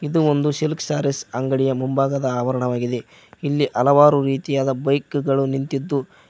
ಇದು ಒಂದು silk saris ಅಂಗಡಿಯ ಮುಂಭಾಗದ ಆವರಣವಾಗಿದೆ ಇಲ್ಲಿ ಹಲವಾರು ರೀತಿಯಾದ ಬೈಕ್ ಗಳು ನಿಂತಿದ್ದು--